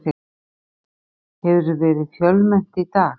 Lillý, hefur verið fjölmennt í dag?